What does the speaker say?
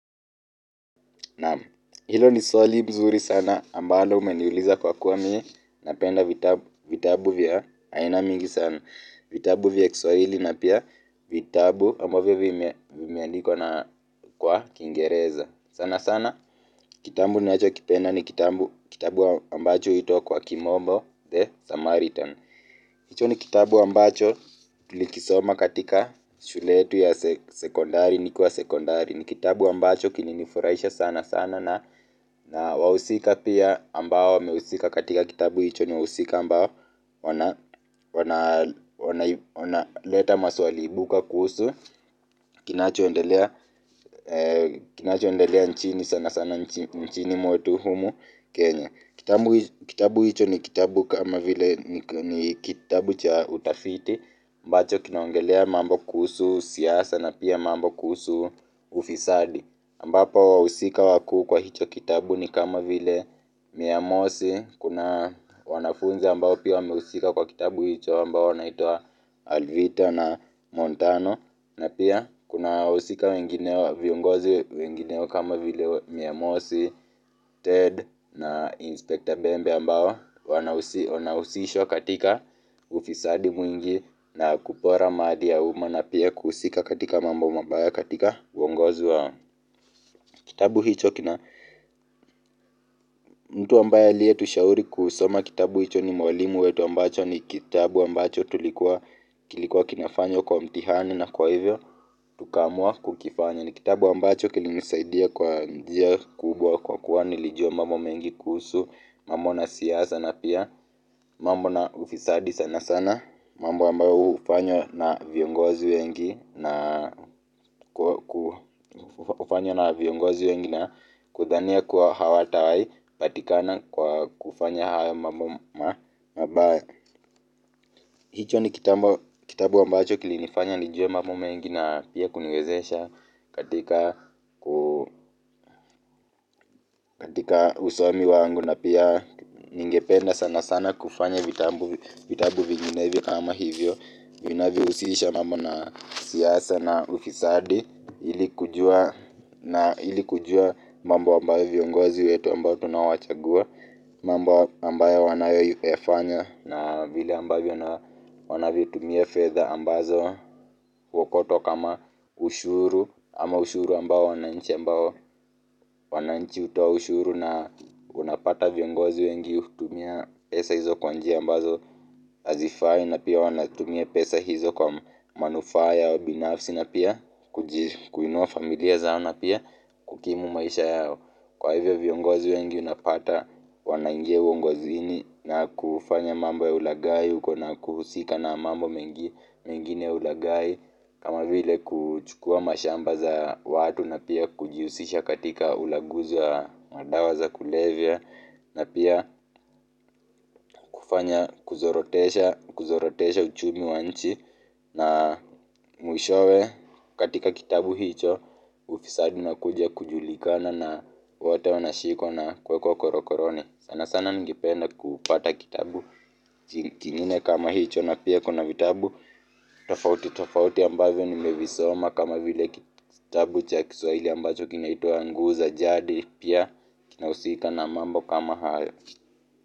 Naam hilo ni swali mzuri sana ambalo umeniuliza kwa kuwa mimi napenda vitabu vya aina mingi sana vitabu vya Kiswahili na pia vitabu ambavyo vimeandikwa na kwa kingereza sana sana kitabu ninachokipenda ni kitabu ambacho huitwa kwa kimombo the samaritan hicho ni kitabu ambacho tulikisoma katika shule yetu ya sekondari nikiwa sekondari ni kitabu ambacho kilinifurahisha sana sana na na wahusika pia ambao wamehusika katika kitabu hicho ni wahusika ambao wanaleta maswali ibuka kuhusu kinacho kinacho endelea nchini sana sana nchini mwetu humu Kenya. Kitabu hicho ni kitabu kama vile ni kitabu cha utafiti ambacho kinaongelea mambo kuhusu siasa na pia mambo kuhusu ufisadi ambapo wahusika wakuu kwa hicho kitabu ni kama vile miyamosi kuna wanafunzi ambao pia wamehusika kwa kitabu hicho ambao wanaitwa Alvito na Montano na pia kuna wahusika wengine viongozi wengineo kama vile miyamosi, Ted na Inspector Bembe ambao wanausishwa katika ufisadi mwingi na kupora mali ya uma na pia kuhusika katika mambo mabaya katika uongozi wao kitabu hicho kina mtu ambaye aliyetushauri kusoma kitabu hicho ni mwalimu wetu ambayo ni kitabu kilikuwa kinafanywa kwa mtihani kwa hivyo. Tukaamua kukifanya ni kitabu ambacho kilinisaidia kwa njia kubwa kwa kuwa nilijua mambo mengi kuhusu mambo na siasa na pia mambo na ufisadi sana sana mambo ambayo hufanywa na viongozi wengi na kufanywa na viongozi wengi na kudhania kuwa hawatawahi patikana kwa kufanya hayo mambo mabaya hicho ni kitabu ambacho kilinifanya nijue mambo mengi na pia kuniwezesha katika usomi wangu na pia ningependa sana sana kufanya vitabu vinginevyo kama hivyo vinavyohusisha mambo na siasa na ufisadi ili kujua mambo ambayo viongozi wetu ambao tunawachagua mambo ambayo wanayoifanya na vile ambavyo wanavitumia fedha ambazo huokotwa kama ushuru ama ushuru ambao wananchi wananchi hutoa ushuru na unapata viongozi wengi hutumia pesa hizo kwa njia ambazo hazifai na pia wanatumia pesa hizo kwa manufaa yao binafsi na pia kuinua familia zao na pia kukimu maisha yao kwa hivyo viongozi wengi unapata wanaingia uongozini na kufanya mambo ya ulaghai huko na kuhusika na mambo mengi mengine ulaghai kama vile kuchukua mashamba za watu na pia kujihusisha katika ulaguzi wa madawa za kulevya na pia kufanya kuzorotesha uchumi wa nchi na mwishowe katika kitabu hicho ufisadi unakuja kujulikana na wote wanashikwa na kuwekwa korokoroni sana sana ningependa kupata kitabu kingine kama hicho na pia kuna vitabu tofauti tofauti ambavyo nimevisoma kama vile kitabu cha Kiswahili ambacho kinaitwa guu za jadi pia kinahusika na mambo kama hayo.